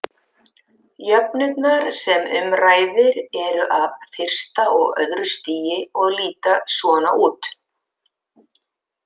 Jöfnurnar sem um ræðir eru af fyrsta og öðru stigi og líta svona út: